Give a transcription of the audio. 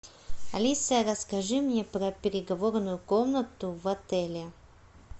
алиса расскажи мне про переговорную комнату в отеле